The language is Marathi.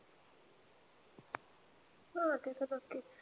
हा. ते तर नक्कीच.